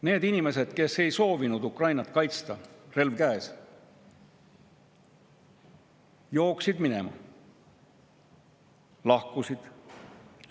Need inimesed, kes ei soovinud Ukrainat kaitsta, relv käes, jooksid minema, lahkusid.